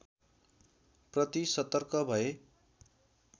प्रति सतर्क भए